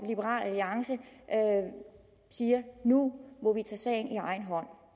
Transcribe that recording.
liberal alliance siger nu må vi tage sagen i egen hånd